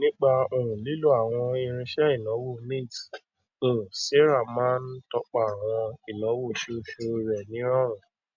nípa um lílo àwọn irinṣẹ ìnáwó mint um sarah máa ń tọpa àwọn ináwó oṣooṣu rẹ ní ìrọrùn